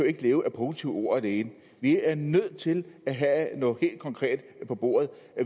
ikke leve af positive ord alene vi er nødt til at have noget helt konkret på bordet